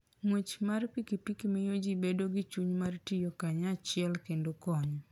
Ng'wech mar pikipiki miyo ji bedo gi chuny mar tiyo kanyachiel kendo konyo.